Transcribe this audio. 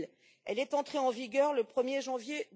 2000. Elle est entrée en vigueur le 1er janvier